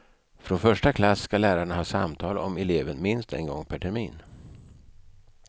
Från första klass ska lärarna ha samtal om eleven minst en gång per termin.